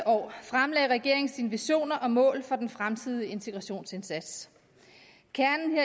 år fremlagde regeringen sine visioner og mål for den fremtidige integrationsindsats kernen